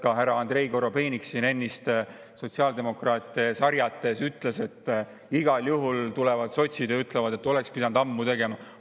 Ka härra Andrei Korobeinik siin ennist sotsiaaldemokraate sarjates ütles, et igal juhul tulevad sotsid ja ütlevad, et oleks pidanud ammu tegema.